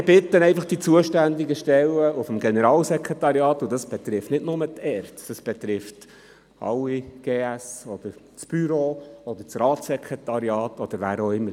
Ich bitte die zuständigen Stellen des Generalsekretariats (GS), und das betrifft nicht nur die ERZ, das betrifft alle GS, das Büro, das Ratssekretariat oder wen auch immer: